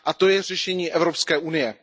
To je řešení Evropské unie.